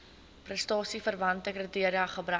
prestasieverwante kriteria gebruik